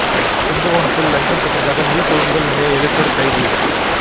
கும்பகோணத்தில் லஞ்சம் பெற்றதாக நெல் கொள்முதல் நிலைய எழுத்தர் கைது